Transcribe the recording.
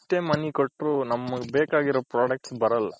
ಎಷ್ಟೆ money ಕೊಟ್ರು ನಮ್ಗ್ ಬೇಕಾಗಿರೋ products ಬರಲ್ಲ.